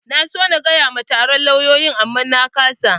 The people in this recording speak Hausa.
Na so na faɗa ma taron lauyoyin amma na ƙasa.